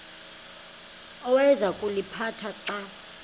awayeza kuliphatha xa